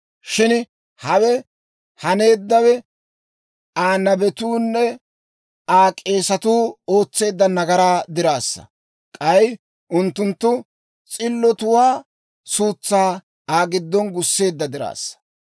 Shin hawe haneeddawe Aa nabetuunne Aa k'eesatuu ootseedda nagaraa diraassa; k'ay unttunttu s'illotuwaa suutsaa Aa giddon gusseedda diraassa.